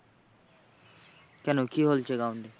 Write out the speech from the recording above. কেন কি হয়েছে ground এ?